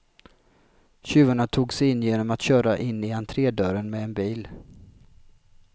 Tjuvarna tog sig in genom att köra in i entredörren med en bil.